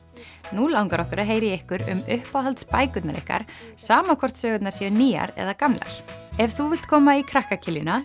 nú langar okkur að heyra í ykkur um uppáhalds bækurnar ykkar sama hvort sögurnar séu nýjar eða gamlar ef þú vilt koma í krakka